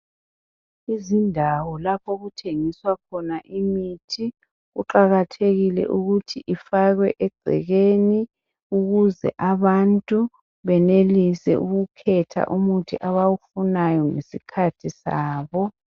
Izindawo laph' okuthengiswa khona imithi kuqakathekile ukuthi ifakwe egcekeni, ukuze abantu benelise ukukhetha umuthi abawufunayo ngesikhathi sabo.